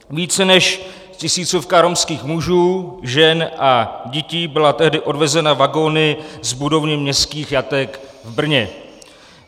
Více než tisícovka romských mužů, žen a dětí byla tehdy odvezena vagony z budovy městských jatek v Brně.